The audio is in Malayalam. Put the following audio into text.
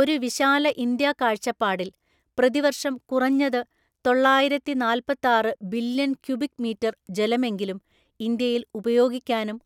ഒരു വിശാല ഇന്ത്യാ കാഴ്ചപ്പാടിൽ, പ്രതിവർഷം കുറഞ്ഞത് തൊള്ളായിരത്തിനാല്‍പ്പത്താറു ബില്യൺ ക്യുബിക് മീറ്റർ ജലമെങ്കിലും ഇന്ത്യയിൽ ഉപയോഗിക്കാനും